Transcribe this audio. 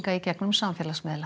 í gegnum samfélagsmiðla